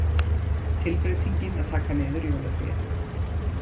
Tilbreytingin að taka niður jólatréð.